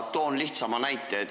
Toon lihtsa näite.